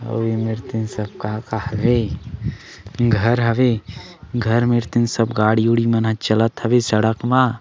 अऊ एमेर तीन सब का काहत हे घर हवे घर मे तीर सब गाड़ी वाड़ी चलत हवय सड़क म--